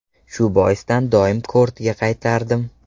Shu boisdan doim kortga qaytardim.